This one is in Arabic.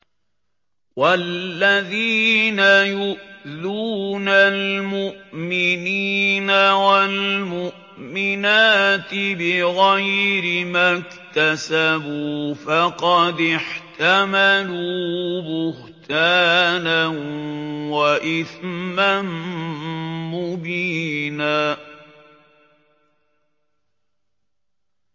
وَالَّذِينَ يُؤْذُونَ الْمُؤْمِنِينَ وَالْمُؤْمِنَاتِ بِغَيْرِ مَا اكْتَسَبُوا فَقَدِ احْتَمَلُوا بُهْتَانًا وَإِثْمًا مُّبِينًا